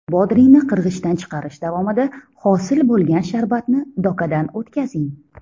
Bodringni qirg‘ichdan chiqarish davomida hosil bo‘lgan sharbatni dokadan o‘tkazing.